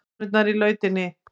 Konurnar í lautinni.